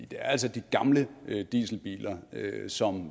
det er altså de gamle dieselbiler som